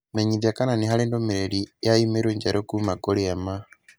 Menyithia kana nĩ harĩ ndũmĩrĩri ya i-mīrū njerũ kuuma kũrĩ Emma